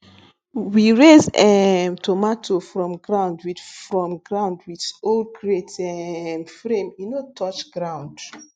we raise um tomato from ground with from ground with old crate um frame so e no touch ground